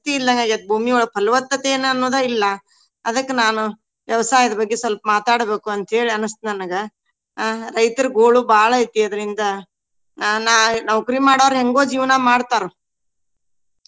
ಶಕ್ತಿ ಇಲದಾಂಗ ಆಗೇತಿ ಭೂಮಿಯೊಳಗ್ ಪಾಲವತ್ತತೆನ ಅನ್ನೋದ್ ಇಲ್ಲಾ. ಅದಕ್ಕ ನಾನು ವ್ಯವಸಾಯದ ಬಗ್ಗೆ ಸ್ವಲ್ಪ ಮಾತಾಡಬೇಕು ಅಂತ ಹೇಳಿ ಅನಸ್ತ ನನಗ. ಅಹ್ ರೈತರ ಗೋಳು ಬಾಳ ಐತಿ. ಅದ್ರಿಂದ ನಾ~ ನಾವ್ ನೌಕ್ರಿ ಮಾಡೊವ್ರ ಹೆಂಗೊ ಜೀವನಾ ಮಾಡ್ತಾರ್.